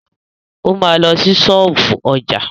O ma lọ sí ṣọ́ọ̀bú ọjà.